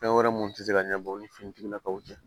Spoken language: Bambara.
Fɛn wɛrɛ mun ti se ka ɲɛnabɔ u ni finitigilakaw cɛ